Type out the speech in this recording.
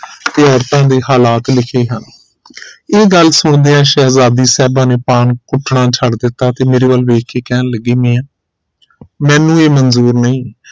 ਤੇ ਔਰਤਾਂ ਦੇ ਹਾਲਾਤ ਲਿਖੇ ਹਨ ਇਹ ਗੱਲ ਸੁਣਦਿਆਂ ਸ਼ਹਿਜ਼ਾਦੀ ਸਾਹਿਬਾ ਨੇ ਪਾਨ ਕੁੱਟਣਾ ਛੱਡ ਦਿੱਤਾ ਤੇ ਮੇਰੇ ਵੱਲ ਵੇਖ ਕੇ ਕਹਿਣ ਲੱਗੀ ਮੀਆਂ ਮੈਨੂੰ ਇਹ ਮਨਜ਼ੂਰ ਨਹੀਂ